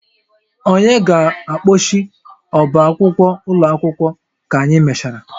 Onye ga-akpọchi ọbá akwụkwọ ụlọ akwụkwọ ka anyị mechara?